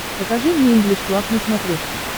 покажи мне инглиш клаб на смотрешке